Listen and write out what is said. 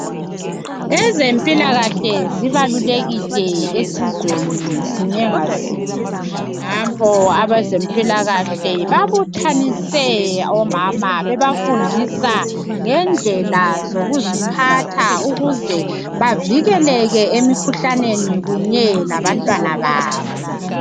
ezempilakahle zibalulekile esizweni sinye nga sinye nampo abezempilakahle babuthanise omama bebafundisa ngendlela zokuziphatha ukuze bavikeleke emikhuhlaneni kunye labantwana babo